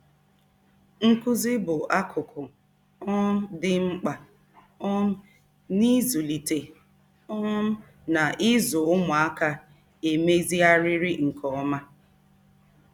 Nkuzi bụ akụkụ um dị mkpa um n'ịzụlite um na ịzụ ụmụaka emezigharịrị nke ọma.